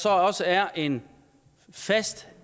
også er en fast